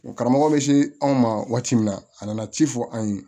Karamɔgɔ bɛ se anw ma waati min na a nana ci fɔ an ye